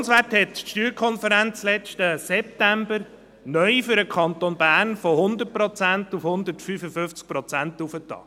Die SSK hat den Repartitionswert letzten September für den Kanton Bern neu von 100 Prozent auf 155 Prozent erhöht.